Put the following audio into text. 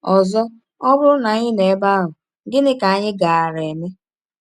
Ọzọ, ọ bụrụ na anyị nọ ebe ahụ, gịnị ka anyị gaara eme?